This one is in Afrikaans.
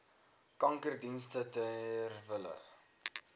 kankerdienste ter wille